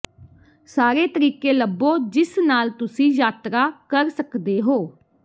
ਸਾਰੇ ਤਰੀਕੇ ਲੱਭੋ ਜਿਸ ਨਾਲ ਤੁਸੀਂ ਯਾਤਰਾ ਕਰ ਸਕਦੇ ਹੋ